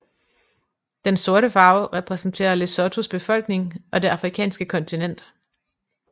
Den sorte farve repræsenterer Lesothos befolkning og det afrikanske kontinent